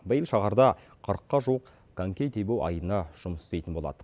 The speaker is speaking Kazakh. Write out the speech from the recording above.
биыл шаһарда қырыққа жуық коньки тебу айдыны жұмыс істейтін болады